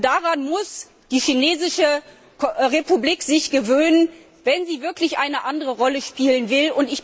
Daran muss sich die Chinesische Republik gewöhnen, wenn sie wirklich eine andere Rolle spielen will.